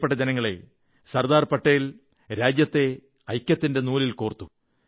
പ്രിയപ്പെട്ട ജനങ്ങളേ സർദാർ പട്ടേൽ രാജ്യത്തെ ഐക്യത്തിന്റെ നൂലിൽ കോർത്തു